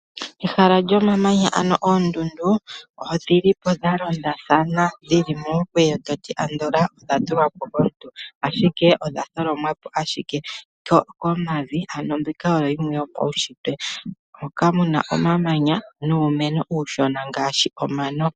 Ehala lyomamanya ano oondundu odhi li po dha londathana dhi li momukweyo andola to ti odha tulwa po kaantu, ashike odha tholomwa po ashike komavi. Mbika oyo yimwe yopaunshitwe hoka ku na omamanya nuumeno uushona ngaashi omano.